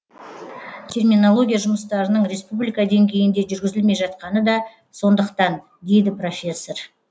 терминология жұмыстарының республика деңгейінде жүргізілмей жатқаны да сондықтан дейді профессор